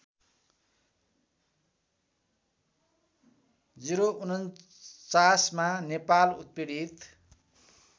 ०४९मा नेपाल उत्पीडित